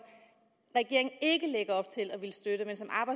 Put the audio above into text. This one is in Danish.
regeringen ikke lægger op til at ville støtte